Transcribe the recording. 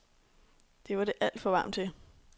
Det var det alt for varmt til.